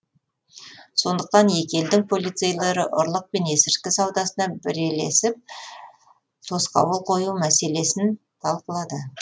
сондықтан екі елдің полицейлері ұрлық пен есірткі саудасына бірелесіп тосқауыл қою мәселесін талқылады